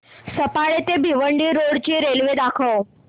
सफाळे ते भिवंडी रोड ची रेल्वे दाखव